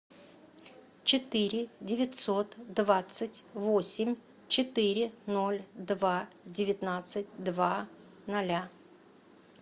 четыре девятьсот двадцать восемь четыре ноль два девятнадцать два ноля